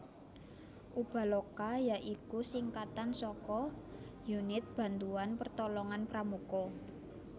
Ubaloka ya iku singkatan saka Unit Bantuan Pertolongan Pramuka